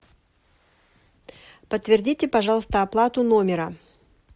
подтвердите пожалуйста оплату номера